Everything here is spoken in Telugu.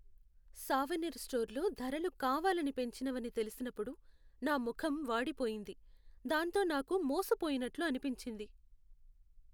సావనీర్ స్టోర్లో ధరలు కావాలని పెంచినవని తెలిసినప్పుడు నా ముఖం వాడిపోయింది, దాంతో నాకు మోసపోయినట్లు అనిపించింది.